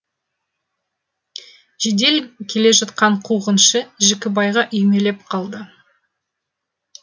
жедел келе жатқан қуғыншы жікібайға үймелеп қалды